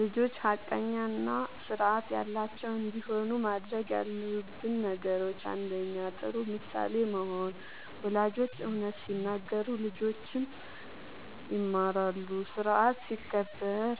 ልጆች ሐቀኛ እና ስርዓት ያላቸው እንዲሆኑ ማድረግ ያለብን ነገሮችን፦ ፩. ጥሩ ምሳሌ መሆን፦ ወላጆች እውነት ሲናገሩ ልጆችም ይማራሉ። ስርዓት ሲከበር